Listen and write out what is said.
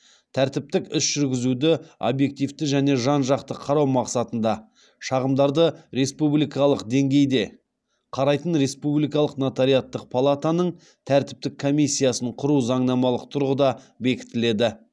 тәртіптік іс жүргізуді объективті және жан жақты қарау мақсатында шағымдарды республикалық деңгейде қарайтын республикалық нотариаттық палатаның тәртіптік комиссиясын құру заңнамалық тұрғыда бекітіледі